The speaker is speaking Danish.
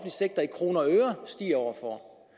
sektor i kroner og øre stiger år for år